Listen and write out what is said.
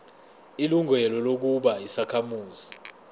ilungelo lokuba yisakhamuzi